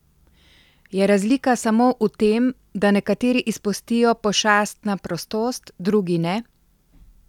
Je razlika samo v tem, da nekateri izpustijo pošast na prostost, drugi ne?